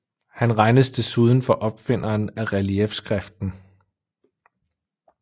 Han regnes desuden for opfinderen af reliefskriften